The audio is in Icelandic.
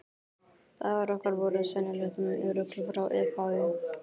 Dagar okkar voru sennilegt rugl frá upphafi.